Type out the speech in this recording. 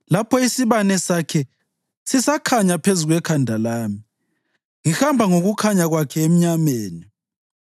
lapho isibane sakhe sisakhanyisa phezu kwekhanda lami ngihamba ngokukhanya kwakhe emnyameni!